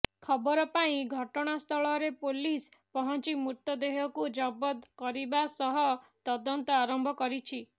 ଖବର ପାଇ ଘଟଣାସ୍ଥଳରେ ପୋଲିସ ପହଞ୍ଚି ମୃତଦେହକୁ ଜବତ କରିବା ସହ ତଦନ୍ତ ଆରମ୍ଭ କରିଛି